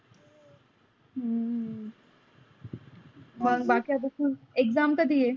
हम्म हो का मग बाकी आत्त तुझी exam कदी आहे?